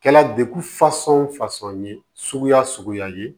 Kɛla dekun fasɔn fasɔn ye suguya suguya ye